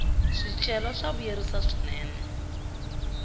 swicelwa swa vuyerisa swinene